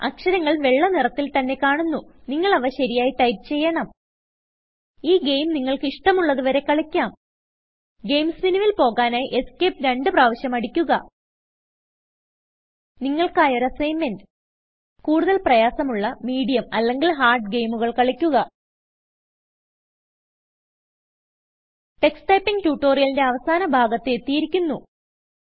അക്ഷരങ്ങൾ വെള്ള നിറത്തിൽ തന്നെ കാണുന്നു നിങ്ങൾ അവ ശരിയായി ടൈപ്പ് ചെയ്യണം ഈ ഗെയിം നിങ്ങൾക്ക് ഇഷ്ടമുള്ളത് വരെ കളിക്കാം ഗെയിംസ് മെനുവിൽ പോകാനായി Escapeരണ്ടു പ്രാവിശ്യം അടിക്കുക നിങ്ങൾക്കായി ഒരു അസ്സിഗ്ന്മെന്റ് കൂടുതൽ പ്രയാസമുള്ള മീഡിയം അല്ലെങ്കിൽ ഹാർഡ് ഗെയിമുകൾ കളിക്കുക ടക്സ് Typingട്യുട്ടോറിയലിന്റെ അവസാന ഭാഗത്ത് എത്തിയിരിക്കുന്നു